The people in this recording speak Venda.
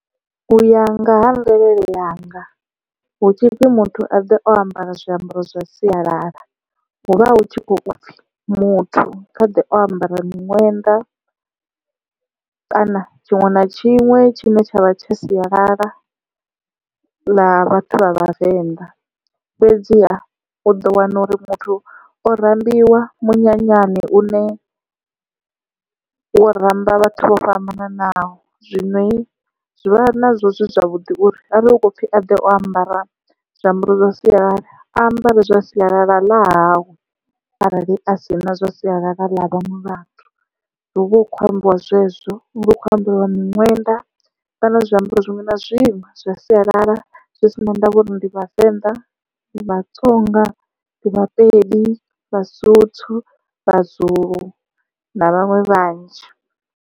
U ya nga ha mvelele yanga hu tshipfi muthu a ḓe o ambara zwiambaro zwa sialala, huvha hu tshi khou pfhi muthu kha ḓe o ambara miṅwenda kana tshiṅwe na tshiṅwe tshine tshavha tsha sialala ḽa vhathu vha vhavenḓa fhedziha u ḓo wana uri muthu o rambiwa munyanyani une wo ramba vhathu vho fhambananaho zwino zwi vha nazwo zwi zwavhuḓi uri arali hu khou pfhi a ḓe o ambara zwiambaro zwa sialala ambare zwa sialala ḽa hawe. Arali a si na zwa sialala ḽa vhaṅwe vhathu hu vha hu khou ambiwa zwezwo hu khou ambiwa miṅwenda kana zwiambaro zwiṅwe na zwiṅwe zwa sialala zwi si na ndavha uri ndi vhavenḓa ndi vhatsonga ndi vhapedi vhasotho vhazulu na vhaṅwe vhanzhi.